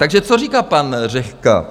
Takže co říká pan Řehka?